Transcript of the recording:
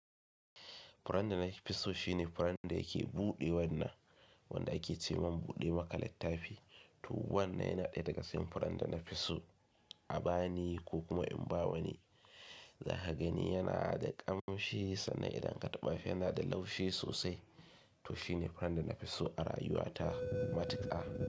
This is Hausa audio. Furan da nafi so shine furan da yake buɗe wannan, wanda ake ce wa buɗe maka littafi. To wannan yana ɗaya daga cikin furan da nafi so a bani ko kuma in ba wa ni. Za ka gani yana da ƙamshi sannan idan ka taɓa shi yana da laushi sosai. To shine furan da nafi so a rayuwa ta matuƙa.